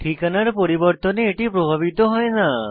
ঠিকানার পরিবর্তন দ্বারা এটি প্রভাবিত হয় না